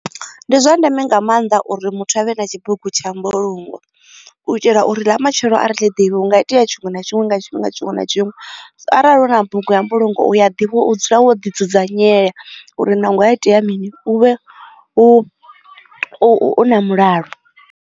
Ndi zwa ndeme nga maanḓa uri muthu avhe na tshibugu tsha mbulungo u itela uri ḽa matshelo ari ḽiḓivhi hunga itea tshinwe na tshinwe nga tshifhinga tshiṅwe na tshiṅwe arali hu na bugu ya mbulungo ya ḓivhiwa u dzula wo ḓi dzudzanyela uri naho ha itea mini u vhe na mulalo.